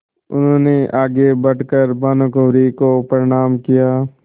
उन्होंने आगे बढ़ कर भानुकुँवरि को प्रणाम किया